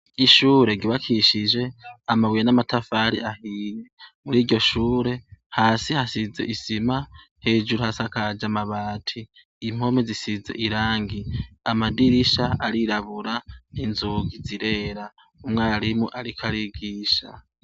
Ishure ryubakishije amabuye n'amatafari ahiye. Muri iryo shure, hasi hasize isima, hejuru hari amabati. Amadirisha arirabura, inzugi zirera. Umwarimu ariko arigisha.